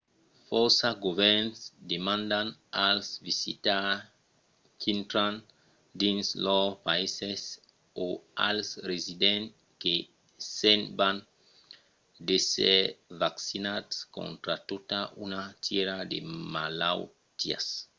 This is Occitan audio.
fòrça govèrns demandan als visitaires qu'intran dins lors païses o als residents que se'n van d'èsser vaccinats contra tota una tièra de malautiás